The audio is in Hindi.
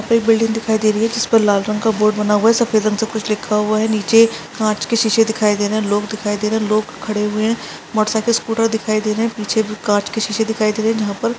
एक बिल्डिंग दिखाई दे रही है जिस पर लाल रंग का बोर्ड बना हुआ है सफ़ेद रंग से कुछ लिखा हुआ है नीचे काँच के शीशे दिखाई दे रहे है लोग दिखाई दे रहे है लोग खड़े हुए है मोटर साइकिल स्कूटर दिखाई दे रहे है पीछे भी काँच के शीशे दिखाई दे रहे है यहाँ पर--